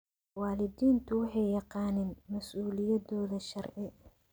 Waalidiintu waxay yaqaaniin mas'uuliyadooda sharci.